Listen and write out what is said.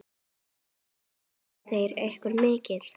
Styrkja þeir ykkur mikið?